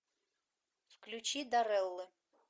включи дарреллы